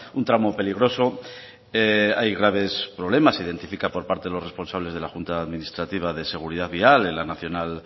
un tramo peligroso hay graves problemas se identifica por parte de los responsables de la junta de administrativa de seguridad vial en la nacional